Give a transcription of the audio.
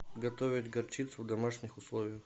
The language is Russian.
готовить горчицу в домашних условиях